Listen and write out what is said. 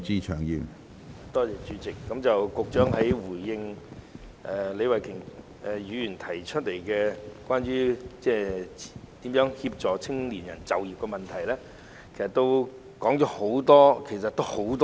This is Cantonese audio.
主席，局長在回應李慧琼議員有關協助青年人就業的主體質詢時，在答覆中說了很多。